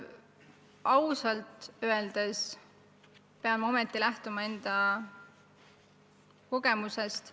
Ausalt öeldes pean lähtuma enda kogemusest.